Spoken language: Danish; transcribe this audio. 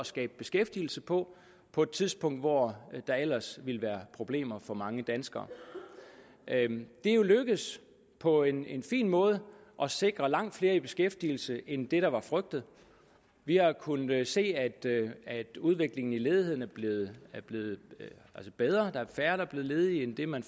skabe beskæftigelse på på et tidspunkt hvor der ellers ville være problemer for mange danskere det er jo lykkedes på en en fin måde at sikre langt flere i beskæftigelse end det der var frygtet vi har kunnet se at udviklingen i ledigheden er blevet bedre at der er færre der er blevet ledige end det man